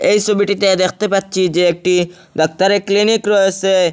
এই সবিটিতে দেখতে পাচ্ছি যে একটি ডাক্তারের ক্লিনিক রয়েসে।